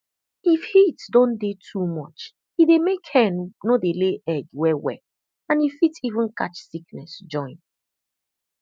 if heat don dey too much e dey make hen no dey lay egg well well and e fit even catch sickness join